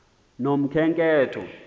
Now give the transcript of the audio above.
nokhenketho